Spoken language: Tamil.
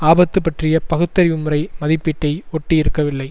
ஆபத்து பற்றிய பகுத்தறிவு முறை மதிப்பீட்டை ஒட்டி இருக்கவில்லை